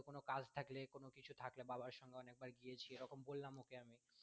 কোনো কাজ থাকলে কোনো কিছু থাকলে বাবার সাথেও অনেকবার গিয়েছি এরকম বললাম ওকে আমি